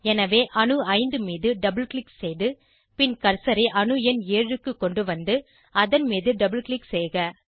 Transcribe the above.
எனவே அணு 5 மீது டபுள் க்ளிக் செய்து பின் கர்சரை அணு எண் 7 க்கு கொண்டுவந்து அதன் மீது டபுள் க்ளிக் செய்க